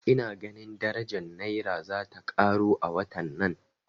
Ina ganin daraja Naira zata karo a watan nan